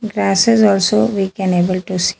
Grasses also we can able to see.